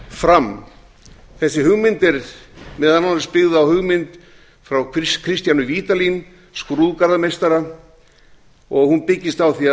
fram þessi hugmynd er meðal annars byggð á hugmynd frá kristjáni vídalín skrúðgarðameistara og hún byggist á því